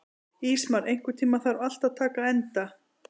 Ísmar, einhvern tímann þarf allt að taka enda.